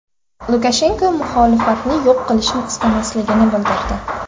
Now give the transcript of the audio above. Lukashenko muxolifatni yo‘q qilishni istamasligini bildirdi.